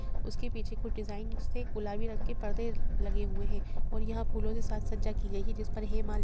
उसके पीछे कुछ डिजाइंस से गुलाबी रंग के-पर्दे लगे हुए हैं और यहां फूलों से सज्जा की गई है जिस पर हे मां --